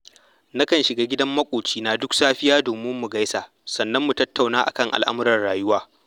Nakan shiga gidan maƙocina duk safiya domin mu gaisa, sannan mu tattauna a kan al'amuran rayuwa